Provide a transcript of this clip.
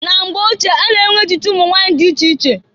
Na mgbe ochie a na-enwe echichi umunwanyị dị iche iche.